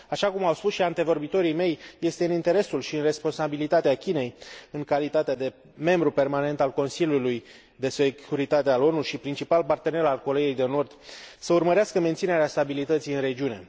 Așa cum au spus și antevorbitorii mei, este în interesul și în responsabilitatea Chinei, în calitate de membru permanent al Consiliului de Securitate al ONU și principal partener al Coreei de Nord, să urmărească menținerea stabilității în regiune.